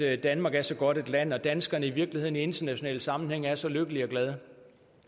at danmark er så godt et land og at danskerne i virkeligheden i internationale sammenhænge er så lykkelige og glade